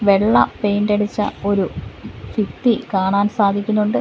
വെള്ള പെയിൻ്റടിച്ച ഒരു ഫിത്തി കാണാൻ സാധിക്കുന്നൊണ്ട്.